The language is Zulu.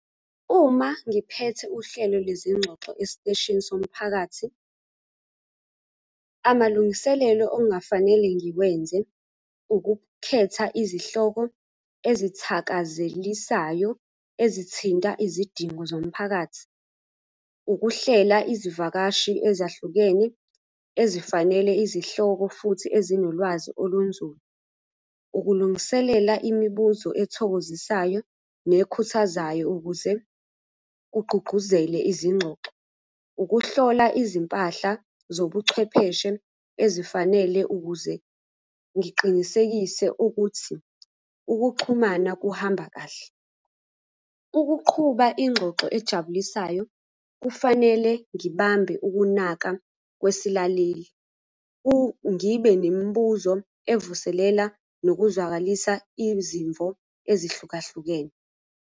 Uma ngiphethe uhlelo lwezingxoxo esiteshini somphakathi, amalungiselelo okungafanele ngiwenze ukukhetha izihloko ezithakazelisayo ezithinta izidingo zomphakathi. Ukuhlela izivakashi ezahlukene ezifanele izihloko futhi ezinolwazi olunzulu. Ukulungiselela imibuzo ethokozisayo nekhuthazayo ukuze kugqugquzele izingxoxo. Ukuhlola izimpahla zobuchwepheshe ezifanele ukuze ngiqinisekise ukuthi ukuxhumana kuhamba kahle. Ukuqhuba ingxoxo ejabulisayo, kufanele ngibambe ukunaka kwesilaleli ngibe nemibuzo evuselela nokuzwakalisa izimvo ezihlukahlukene.